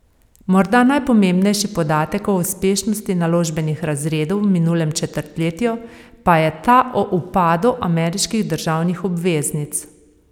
Morda najpomembnejši podatek o uspešnosti naložbenih razredov v minulem četrtletju pa je ta o upadu ameriških državnih obveznic.